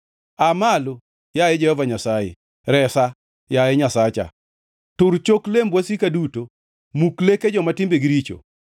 Aa malo, yaye Jehova Nyasaye! Resa, yaye Nyasacha! Tur chok lemb wasika duto; Muk leke joma timbegi richo.